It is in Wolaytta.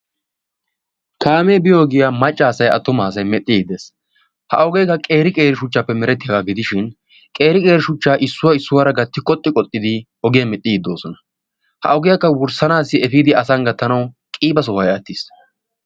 kaamee biyo ogiyaa maccaasay atumaasay medhdhiddi de7ees. ha ogeekka qeeri qeeri shuchchaappe merettiyaagaa gidishin qeeri qeeri shuchchaa issuwaa issuwaara gatti qoxxi qoxxidi ogiyan medhdhiiddi doosona. ha ogiyaakka wurssanaassi efiidi asan gattanawu qiiba sohoy attis.